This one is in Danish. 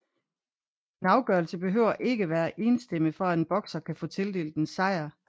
En afgørelse behøver ikke at være enstemmig for at en bokser kan få tildelt en sejr